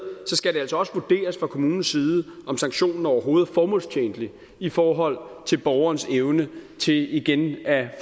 skal det altså også vurderes fra kommunens side om sanktionen overhovedet er formålstjenlig i forhold til borgerens evne til igen at